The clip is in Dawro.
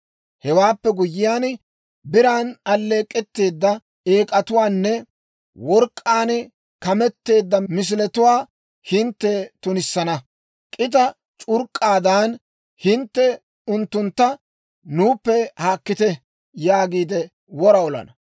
Hewaappe guyyiyaan, biran alleek'k'etteedda eek'atuwaanne work'k'aan kameteedda misiletuwaa hintte tunissana. K'ita c'urk'k'aadan hintte unttuntta, «Nuuppe haakkite» yaagiide wora olana.